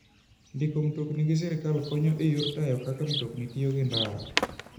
Ndiko mtokni gi sirkal konyoga e yor tayo kaka mtokni tiyo gi ndara.